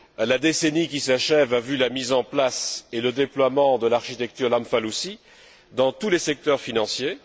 La décennie qui s'achève a vu la mise en place et le déploiement de l'architecture Lamfalussy dans tous les secteurs financiers.